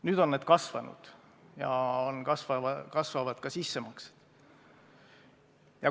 Nüüd on need kasvanud ja kasvavad ka sissemaksed.